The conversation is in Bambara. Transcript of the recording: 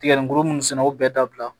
Tigɛli kuru munnu sɛnɛ o bɛɛ dabila